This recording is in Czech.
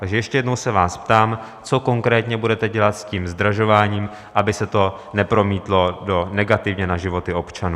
Takže ještě jednou se vás ptám, co konkrétně budete dělat s tím zdražováním, aby se to nepromítlo negativně na životech občanů.